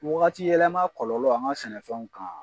Waati yɛlɛma kɔlɔlɔ an ka sɛnɛfɛnw kan